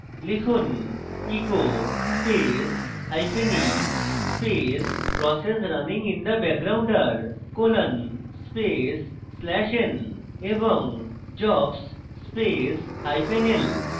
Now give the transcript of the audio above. লিখুন echo space hyphen e space process runing in background are colon space slash n এবং jobs space hyphen l